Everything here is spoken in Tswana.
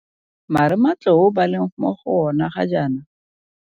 Marematlou ba leng mo go yona ga jaana?